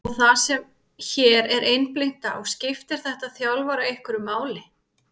og það sem hér er einblínt á, skiptir þetta þjálfara einhverju máli?